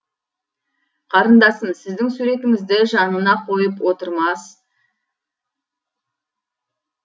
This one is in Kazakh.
қарындасым сіздің суретіңізді жанына қойып отырмас